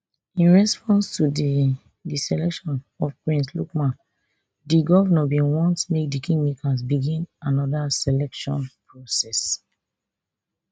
in response to di di selection of prince lukman di govnor bin want make di kingmakers begin anoda selection process